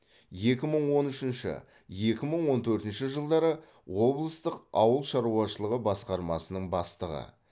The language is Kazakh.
екі мың он үшінші екі мың он төртінші жылдары облыстық ауыл шаруашылығы басқармасының бастығы